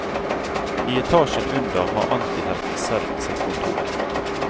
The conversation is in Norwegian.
I etasjen under har antihelten selv sitt kontor.